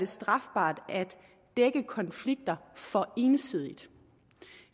strafbart at dække konflikter for ensidigt